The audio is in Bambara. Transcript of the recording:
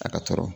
A ka tɔɔrɔ